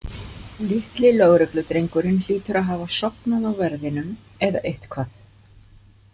Litli lögregludrengurinn hlýtur að hafa sofnað á verðinum eða eitthvað.